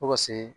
Fo ka se